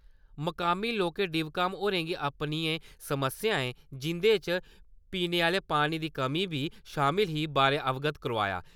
मकामी लोकें डीव.काम. होरें गी अपनियें समस्याएं जिंदे च पीने आह्ले पानी दी कमी बी शामल ही बारे अवगत करौआया।